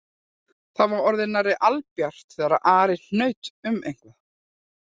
Það var orðið nærri albjart þegar Ari hnaut um eitthvað